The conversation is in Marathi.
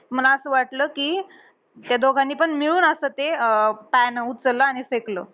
मला असं वाटलं, कि ते दोघांनीपण मिळून असं ते अं pan उचललं आणि फेकलं.